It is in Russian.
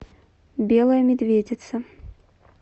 белая медведица